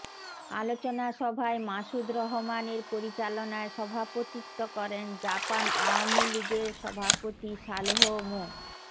আলোচনা সভায় মাসুদ রহমানের পরিচালনায় সভাপতিত্ব করেন জাপান আওয়ামী লীগের সভাপতি সালেহ মো